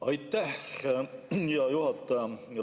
Aitäh, hea juhataja!